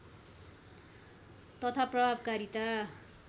तथा प्रभावकारिता